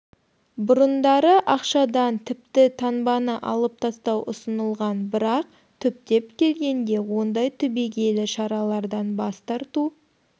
бұрындары ақшадан тіпті таңбаны алып тастау ұсынылған бірақ түптеп келгенде ондай түбегейлі шаралардан бас тарту